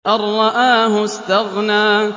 أَن رَّآهُ اسْتَغْنَىٰ